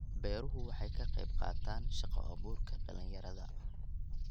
Beeruhu waxay ka qayb qaataan shaqo abuurka dhalinyarada.